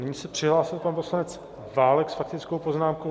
Nyní se přihlásil pan poslanec Válek s faktickou poznámkou.